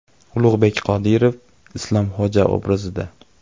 Ulug‘bek Qodirov Islomxo‘ja obrazida.